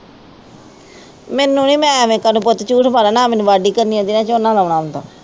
ਮੈਨੂੰ ਵੀ ਮੈਂ ਐਵੇਂ ਤੈਨੂੰ ਪੁੱਤ ਝੂਠ ਮਾਰਾਂ ਨਾ ਮੈਨੂੰ ਵਾਢੀ ਕਰਨੀ ਆਉਂਦੀ ਹੈ ਨਾ ਝੋਨਾ ਲਾਉਣਾ ਆਉਂਦਾ।